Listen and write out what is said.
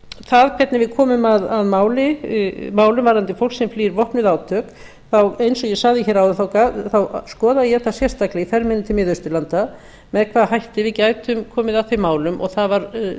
það hvernig við komum að málum varðandi fólk sem flýr vopnuð átök þá eins og ég sagði hér áðan skoðaði ég það sérstaklega í ferð minni til miðausturlanda með hvaða hætti við gætum komið að þeim málum það var